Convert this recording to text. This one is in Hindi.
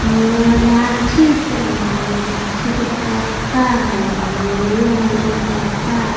मेला में गाछी सब है गाछी के पत्ता है हरियर-हरियर पत्ता --